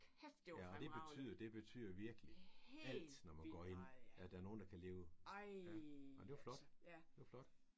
Ja og det betyder det betyder virkelig alt når man går ind at der er nogen der kan leve ja ej det var flot det var flot